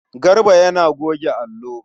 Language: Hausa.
Garba yana goge allo.